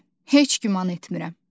Heç güman etmirəm.